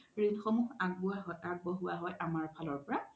ৰিন সমুহ আগবঢ়োৱা আমাৰ ফালৰ পৰা